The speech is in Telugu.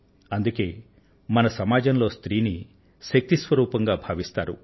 అందుకే మన సమాజంలో స్త్రీ ని శక్తి స్వరూపంగా భావిస్తారు